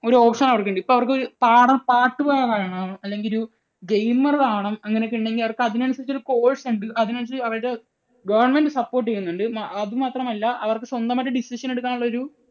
ഒരു option അവർക്കുണ്ട്. ഇപ്പോൾ അവർക്ക് പാടാൻ പാട്ടു പാടണം അല്ലെങ്കിൽ ഒരു gamer ആകണം. അങ്ങനെയൊക്കയുണ്ടെങ്കിൽ അവർക്ക് അതിനനുസരിച്ച് ഒരു course ഉണ്ട്. അതിനനുസരിച്ച് അവരുടെ government support ചെയ്യുന്നുണ്ട്. അതു മാത്രമല്ല അവർക്ക് സ്വന്തമായിട്ട് decision എടുക്കാനുള്ള ഒരു